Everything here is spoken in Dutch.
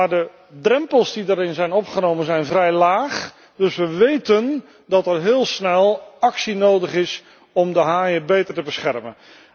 de drempels die erin zijn opgenomen zijn vrij laag, dus we weten dat al heel snel actie nodig is om de haaien beter te beschermen.